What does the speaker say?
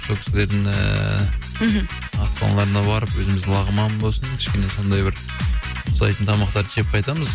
сол кісіліердің ііі мхм асханаларына барып өзіміз лағман болсын кішкене сондай бір ұқсайтын тамақтарды жеп қайтамыз